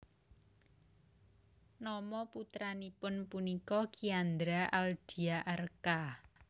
Nama putranipun punika Kiandra Aldia Arka